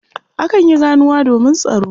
Akan yi ganuwa domin tsaro.